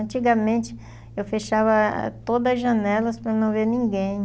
Antigamente, eu fechava todas as janelas para não ver ninguém.